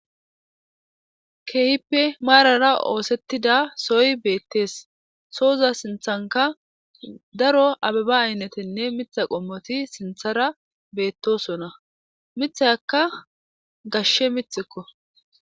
Kehippe marara oththetidda soyi betees.sooza sinththennikka daro ababa ayineteti miththa qommoti betosona.miththayakka gashshe miththikko.